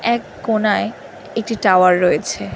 এক কোনায় একটি টাওয়ার রয়েছে